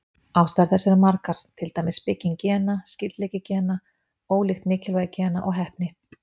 Ástæður þess eru margar, til dæmis bygging gena, skyldleiki gena, ólíkt mikilvægi gena og heppni.